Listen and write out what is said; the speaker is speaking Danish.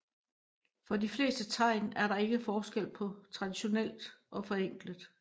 For de fleste tegn er der ikke forskel på traditionelt og forenklet